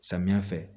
Samiya fɛ